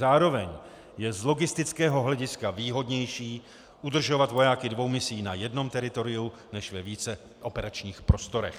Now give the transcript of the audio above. Zároveň je z logistického hlediska výhodnější udržovat vojáky dvou misí na jednom teritoriu než ve více operačních prostorech.